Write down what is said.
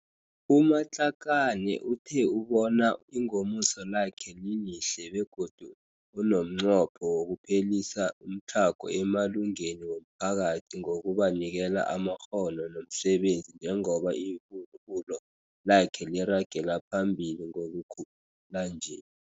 U-Matlakane uthe ubona ingomuso lakhe lilihle begodu unomnqopho wokuphelisa umtlhago emalungeni womphakathi ngokubanikela amakghono nomsebenzi njengoba ibubulo lakhe liragelaphambili ngokukhula nje.